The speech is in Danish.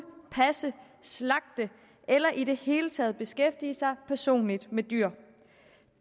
passe slagte eller i det hele taget beskæftige sig personligt med dyr